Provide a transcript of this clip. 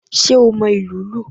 Sé o mo ìlù ú lù?